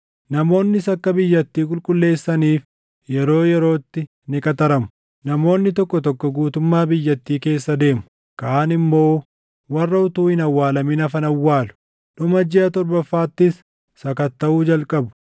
“ ‘Namoonnis akka biyyattii qulqulleessaniif yeroo yerootti ni qaxaramu. Namoonni tokko tokko guutummaa biyyattii keessa deemu; kaan immoo warra utuu hin awwaalamin hafan awwaalu. Dhuma jiʼa torbaffaattis sakattaʼuu jalqabu.